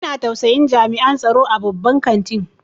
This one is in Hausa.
Ina tausayin jami'an tsaro a babban kantin.